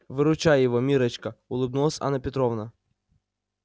выручай его миррочка улыбнулась анна петровна